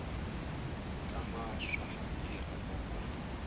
tama swa ha tirha loko